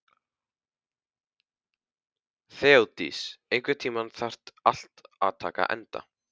Þeódís, einhvern tímann þarf allt að taka enda.